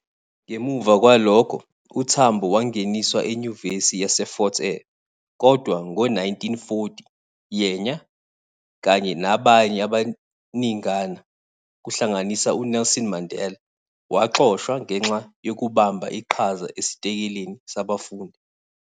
Ngemuva kwalokho, uTambo wangeniswa eNyuvesi yaseFort Hare kodwa ngo-1940 yena kanye nabanye abaningana kuhlanganisa uNelson Mandela, waxoshwa ngenxa yokubamba iqhaza esitelekeni sabafundi.